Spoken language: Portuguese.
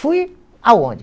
Fui aonde?